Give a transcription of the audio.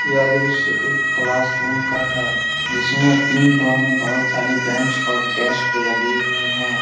यह दृश्य एक क्लासरूम का है जिसमे तीन रो मे बहुत सारी बेंच और डेस्क लगी हुई है।